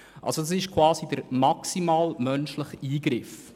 Schutzzonen bedeuten somit den maximalen menschlichen Eingriff.